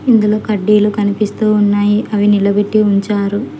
ఇందులో కడ్డీలు కనిపిస్తూ ఉన్నాయి అవి నిలబెట్టి ఉంచారు.